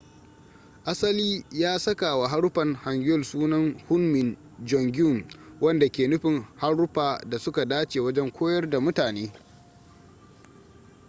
asali ya sakawa haruffan hangeul sunan hunmin jeongeum wanda ke nufin haruffa da su ka dace wajen koyar da mutane